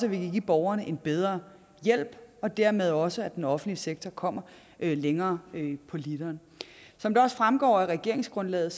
at vi kan give borgerne en bedre hjælp og dermed også at den offentlige sektor kommer længere på literen som det også fremgår af regeringsgrundlaget